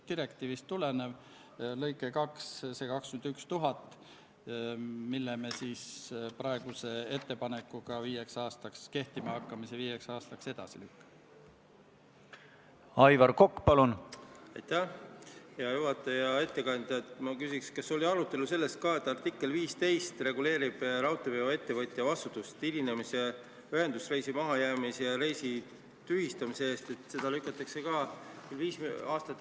Austatud Riigikogu, panen hääletusele Vabariigi Valitsuse esitatud Riigikogu otsuse "Kaitseväe kasutamine Eesti riigi rahvusvaheliste kohustuste täitmisel Põhja-Atlandi Lepingu Organisatsiooni või selle liikmesriigi, Euroopa Liidu või Ühinenud Rahvaste Organisatsiooni juhitaval muul rahvusvahelisel sõjalisel operatsioonil sellesse esmakordsel panustamisel" eelnõu 68.